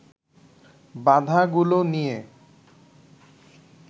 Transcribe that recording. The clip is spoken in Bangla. বাধাগুলো নিয়ে